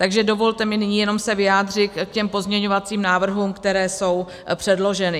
Takže dovolte mi nyní jenom se vyjádřit k těm pozměňovacím návrhům, které jsou předloženy.